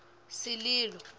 sililo